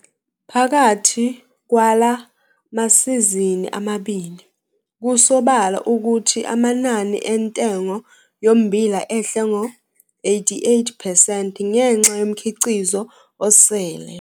Phakathi kwala masizini amabili, kusobala ukuthi amanani entengo yommbila ehle ngo-88 percent ngenxa yomkhiqizo osele.